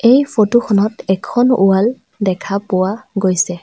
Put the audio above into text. এই ফটোখনত এখন ৱাল দেখা পোৱা গৈছে।